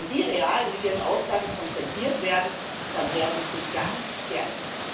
Wenn die real mit ihren Aussagen konfrontiert werden, dann werden sie ganz klein.